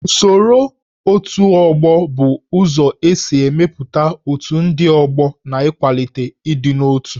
Usoro otù ọgbọ bụ ụzọ isi mepụta otù ndị ọgbọ na ịkwalite ịdị n'otu